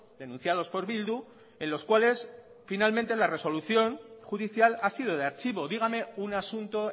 denunciados por bildu en los cuales finalmente la resolución judicial ha sido de archivo dígame un asunto